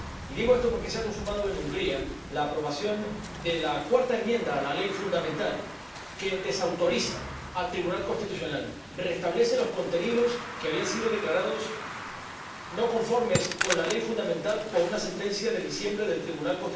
Digo esto porque se ha consumado en Hungría la aprobación de la cuarta enmienda a la Ley Fundamental, que desautoriza al Tribunal Constitucional al restablecer los contenidos que habían sido declarados no conformes con la Ley Fundamental por una sentencia de diciembre de dicho tribunal.